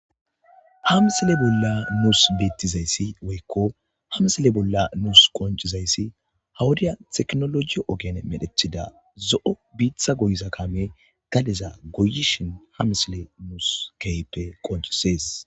hamsile bolla muus beettizayssi woykko hamsile bolla nuus qoncizayssi hawudiya teknologiyo ogene medhethida zo7o biitha goyiza kame galeza goyishin hamisile nuus kehppe qoncisees